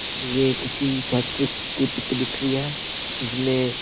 ये किसी फैक्टरी की पिक दिख रही है जिसमें--